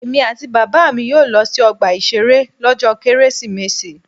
Èmi àti Bàbá mi yóò lọ sí ọgbà ìṣeré lọ́jọ́ Kérésìmesì.